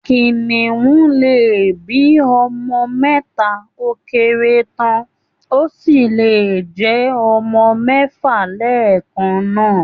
Kìnnìún lè bí ọmọ mẹ́ta ó kéré tán, ó sì lè jẹ́ ọmọ mẹ́fà lẹ́ẹ̀kan náà